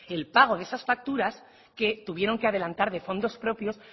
el pago de esas facturas que tuvieron que adelantar de fondos propios